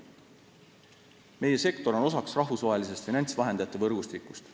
Meie sektor on osa rahvusvahelisest finantsvahendajate võrgustikust.